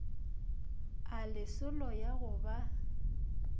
a lesolo ya go ba